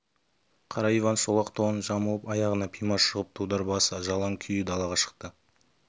қара иван шолақ тонын жамылып аяғына пима сұғып дудар басы жалаң күйі далаға шықты